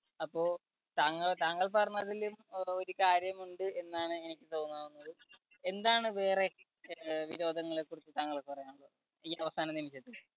അപ്പോ താങ്ക് താങ്കൾ പറഞ്ഞതിൽ ഒരു കാര്യമുണ്ട് എന്നാണ് എനിക്ക് തോന്നാവുന്നത്. എന്താണ് വേറെ വി വിനോദങ്ങളെ കുറിച്ച് താങ്കൾക്ക് പറയാനുള്ളത് ഈ അവസാന നിമിഷത്തിൽ